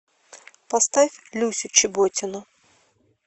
поставь люсю чеботину